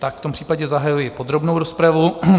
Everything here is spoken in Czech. Tak v tom případě zahajuji podrobnou rozpravu.